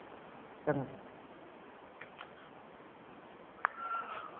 ਚੰਗਾ